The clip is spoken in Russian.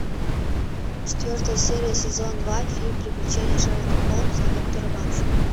четвертая серия сезон два фильм приключения шерлока холмса и доктора ватсона